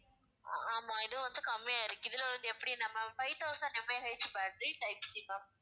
அஹ் ஆமா இது வந்து கம்மியா இருக்கு இதுல வந்து எப்படினா ma'am five thousand MAH battery type C ma'am